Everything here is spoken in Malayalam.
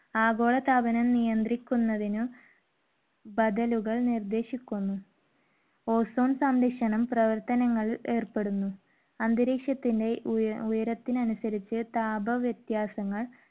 ആഗോളതാപനം നിയന്ത്രിക്കുന്നതിനു ബദലുകൾ നിർദേശിക്കുന്നു. ozone സംരക്ഷണം പ്രവർത്തനങ്ങൾ ഏർപ്പെടുന്നു. അന്തരീക്ഷത്തിന്റെ ഉയര~ഉയരത്തിന് അനുസരിച്ച് താപ വിത്യാസങ്ങൾ